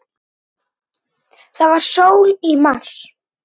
Það var sól í mars.